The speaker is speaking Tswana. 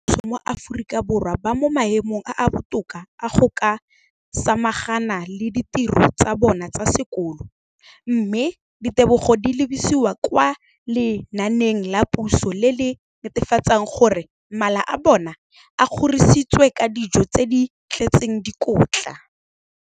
dikolo tsa puso mo Aforika Borwa ba mo maemong a a botoka a go ka samagana le ditiro tsa bona tsa sekolo, mme ditebogo di lebisiwa kwa lenaaneng la puso le le netefatsang gore mala a bona a kgorisitswe ka dijo tse di tletseng dikotla.